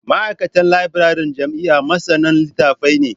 Ma'aikatan labiraren jami'a masanan litattafai ne